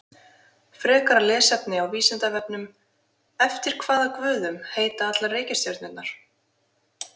Frekara lesefni á Vísindavefnum Eftir hvaða guðum heita allar reikistjörnurnar?